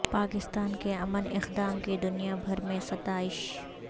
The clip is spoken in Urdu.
پاکستان کے امن اقدام کی دنیا بھر میں ستائش